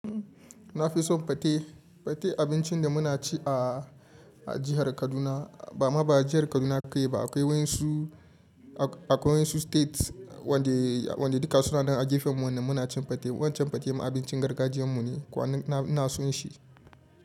Na fi son pate, pate abincin da muna ci a, a jihar Kaduna. Ba ma ba jihar Kaduna ka yi ba, a kaiwai su, a kaiwai su state wanda, wanda duka suna nan a gefenmu nan muna cin pate. Wancan pate ma abincin gargajiyan mu ne kuma ina, ina son shi.